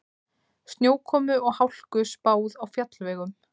Snjókomu og hálku spáð á fjallvegum